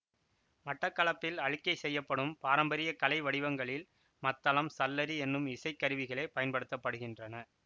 மட்டக்களப்பில் அளிக்கை செய்யப்படும் பாரம்பரிய கலை வடிவங்களில் மத்தளம் சல்லரி என்னும் இசைக்கருவிகளே பயன்படுத்த படுகின்றன